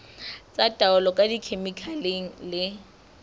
tsa taolo ka dikhemikhale le